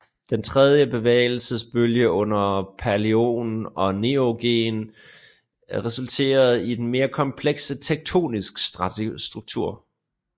Den tredje bevægelsesbølge under paleogen og neogen resulterede i en mere kompleks tektonisk struktur